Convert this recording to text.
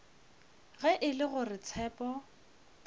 ge e le gore tshepo